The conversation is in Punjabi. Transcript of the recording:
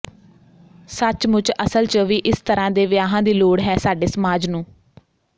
ਸੱਚਮੁੱਚ ਅਸਲ ਚ ਵੀ ਇਸ ਤਰ੍ਹਾਂ ਦੇ ਵਿਆਹਾਂ ਦੀ ਲੋੜ ਹੈ ਸਾਡੇ ਸਮਾਜ ਨੂੰ